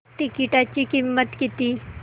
तिकीटाची किंमत किती